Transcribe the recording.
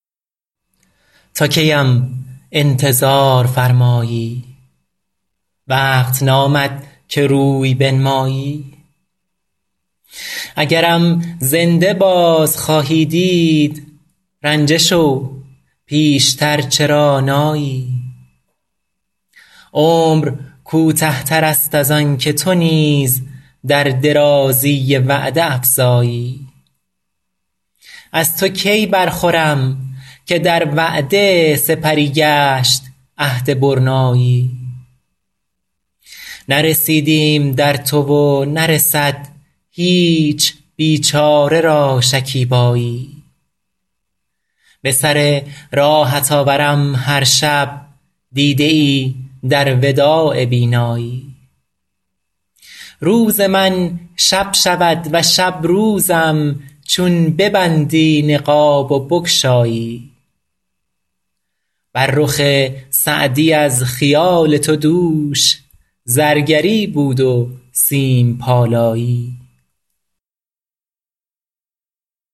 تا کی ام انتظار فرمایی وقت نامد که روی بنمایی اگرم زنده باز خواهی دید رنجه شو پیش تر چرا نایی عمر کوته تر است از آن که تو نیز در درازی وعده افزایی از تو کی برخورم که در وعده سپری گشت عهد برنایی نرسیدیم در تو و نرسد هیچ بیچاره را شکیبایی به سر راهت آورم هر شب دیده ای در وداع بینایی روز من شب شود و شب روزم چون ببندی نقاب و بگشایی بر رخ سعدی از خیال تو دوش زرگری بود و سیم پالایی